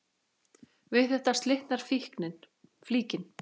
Við þetta slitnar flíkin.